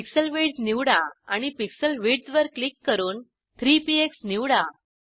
pixel width निवडा आणि pixel विड्थवर क्लिक करून 3 पीएक्स निवडा